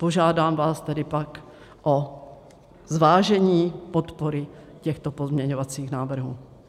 Požádám vás tedy pak o zvážení podpory těchto pozměňovacích návrhů.